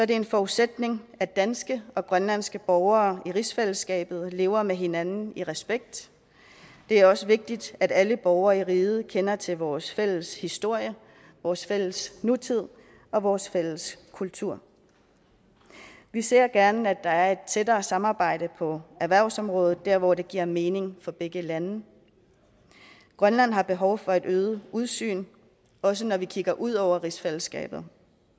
det en forudsætning at danske og grønlandske borgere i rigsfællesskabet lever med hinanden i respekt det er også vigtigt at alle borgere i riget kender til vores fælles historie vores fælles nutid og vores fælles kultur vi ser gerne at der er et tættere samarbejde på erhvervsområdet der hvor det giver mening for begge lande grønland har behov for et øget udsyn også når vi kigger ud over rigsfællesskabet